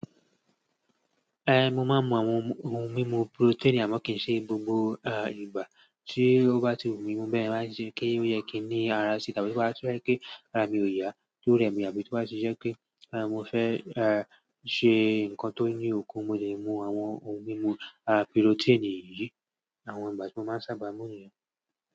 Eh, mo máa ń mu àwọn ohun mímu protein àmọ́ kì í ṣe gbogbo à ìgbà tí ó bá ti wù mí mu be yẹn bá ṣe kí ó yẹ kí ní ara sì tàbí bá ṣe pé kí ara mi ò yá tó rẹmi àbí tó bá ṣe ṣẹ́ kí mo fẹ́ eh ṣe nǹkan tó ní òkun mo lè mu àwọn ohun mímu àti protein yìí. Àwọn ìgbà tí mo máa ń sábà mú nìyẹn.